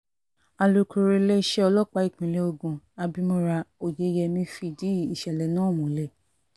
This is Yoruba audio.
alūkkóró iléeṣẹ́ ọlọ́pàá ìpínlẹ̀ ogun abimora oyeyèmí fìdí ìṣẹ̀lẹ̀ náà múlẹ̀